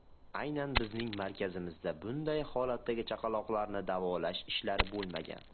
Aynan bizning markazimizda bunday holatdagi chaqaloqlarni davolash ishlari bo‘lmagan.